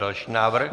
Další návrh.